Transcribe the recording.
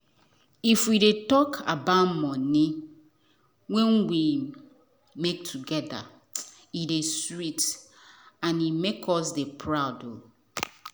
if we dey talk about money wen we make together e dey sweet and make us dey proud